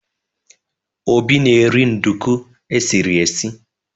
Obi na-eri nduku e siri esi.